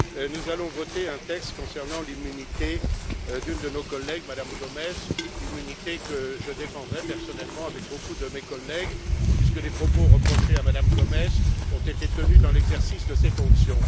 Nous allons voter un texte concernant l'immunité d'une de nos collègues, Mme Gomes, immunité que je défendrai personnellement avec beaucoup de mes collègues, puisque les propos reprochés à Mme Gomes ont été tenus dans l'exercice de ses fonctions.